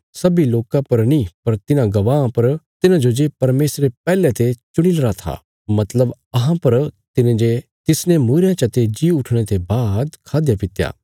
सब्बीं लोकां पर नीं पर तिन्हां गवाहां पर तिन्हांजो जे परमेशरे पैहले ते चुणीलरा था मतलब अहां पर तिने जे तिसने मूईरेयां चते जी उठणे ते बाद खादयापित्या